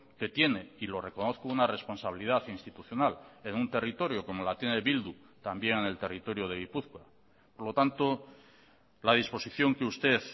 que tiene y lo reconozco una responsabilidad institucional en un territorio como la tiene bildu también en el territorio de gipuzkoa por lo tanto la disposición que usted